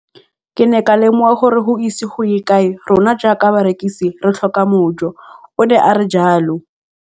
Ke ne ka lemoga gore go ise go ye kae rona jaaka barekise re tla tlhoka mojo, o ne a re jalo.